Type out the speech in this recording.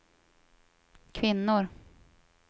kvinnor